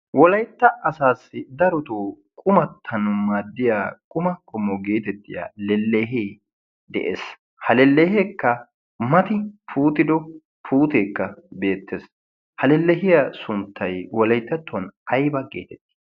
wolaytta asaassi darotoo qumattan maaddiya quma komo geetettiya lellehee de'ees ha lelleheekka mati puutido puuteekka beettees ha lellehiya sunttai wolayttattuwan ayba geetettii